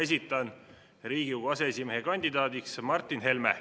Esitan Riigikogu aseesimehe kandidaadiks Martin Helme.